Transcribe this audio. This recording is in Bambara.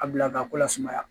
A bila k'a ko lasumaya